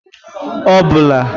obula